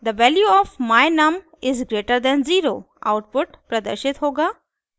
the value of my_num is greater than 0 output प्रदर्शित होगा